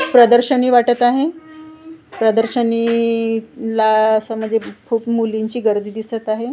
प्रदर्शनी वाटत आहे प्रदर्शनीला असं म्हणजे खूप मुलींची गर्दी दिसत आहे.